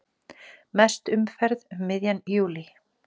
Mest umferð um miðjan júlí